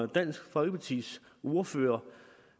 dansk folkepartis ordfører